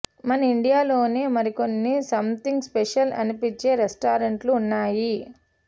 మన ఇండియాలోనే మరికొన్ని సమ్ థింగ్ స్పెషల్ అనిపించే రెస్టారెంట్లు ఉన్నాయి